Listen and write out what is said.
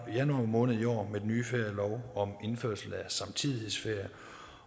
januar måned i år med den nye ferielov om indførelse af samtidighedsferie